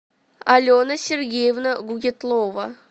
алена сергеевна гукетлова